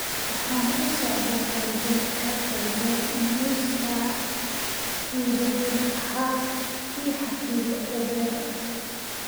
Waxaan u socdaa galbeedka galbeed nus saac gudaheed ha ii xafido uber